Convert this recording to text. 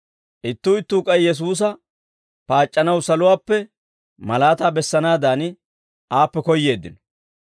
Ittuu ittuu k'ay Yesuusa paac'c'anaw saluwaappe malaataa bessanaadan aappe koyyeeddino.